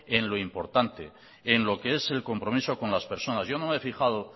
en lo importante en lo que es el compromiso con las personas yo no me he fijado